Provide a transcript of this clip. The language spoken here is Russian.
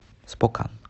спокан